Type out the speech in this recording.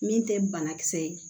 Min tɛ banakisɛ ye